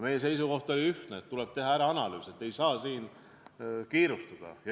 Meie seisukoht oli ühtne: tuleb teha analüüs ja siin ei saa kiirustada.